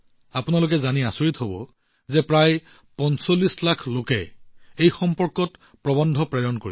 আপোনালোকে জানি আচৰিত হব যে প্ৰায় ৪৫ লাখ লোকে ইয়াৰ বাবে প্ৰৱন্ধ প্ৰেৰণ কৰিছিল